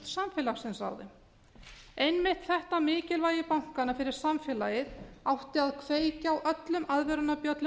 samfélagsins einmitt þetta mikilvægi bankanna fyrir samfélagið átti að kveikja á öllum aðvörunarbjöllum